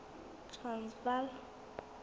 transvala